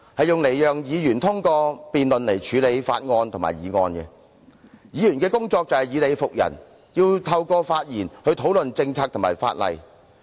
議會讓議員通過辯論來處理法案及議案，議員的工作就是以理服人，透過發言討論政策及法例。